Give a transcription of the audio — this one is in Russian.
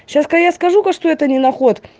сейчас я скажу кое-что это нина